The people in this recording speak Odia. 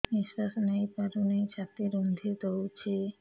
ନିଶ୍ୱାସ ନେଇପାରୁନି ଛାତି ରୁନ୍ଧି ଦଉଛି